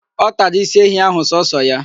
Ọ tara isi ehi ahụ sọọsọ ya.